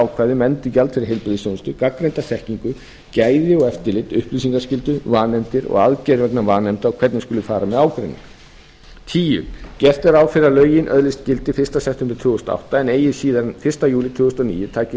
um endurgjald fyrir heilbrigðisþjónustu gagnreynda þekkingu gæði og eftirlit upplýsingaskyldu vanefndir og aðgerðir vegna vanefnda og hvernig skuli fara með ágreining tíu gert er ráð fyrir að lögin öðlist gildi fyrsta september tvö þúsund og átta en eigi síðar en fyrsta júlí tvö þúsund og níu taki